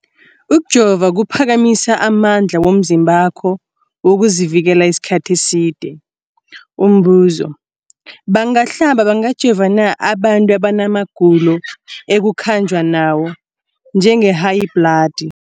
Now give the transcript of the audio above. Ukujova kuphakamisa amandla womzimbakho wokuzivikela isikhathi eside. Umbuzo, bangahlaba, bangajova na abantu abana magulo ekukhanjwa nawo, njengehayibhladi?